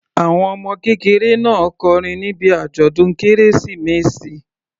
Àwọn ọmọ kékeré náà kọrin níbi àjọ̀dún kérésìmesì.